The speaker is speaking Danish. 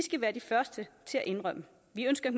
ønsker